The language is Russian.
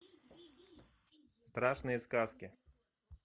страшные сказки